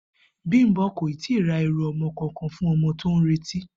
Bímpé kò ì tíì ra e̩rù o̩mo̩ kankan fún o̩mo̩ tí ó ń retí